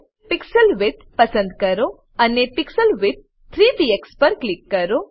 pixel width પસંદ કરો અને પીક્સલ વિડ્થ 3 પીએક્સ પર ક્લિક કરો